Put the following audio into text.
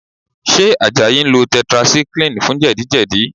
Ṣé Àjàyí ń lo tetracycline fún jẹ̀díjẹ̀dí?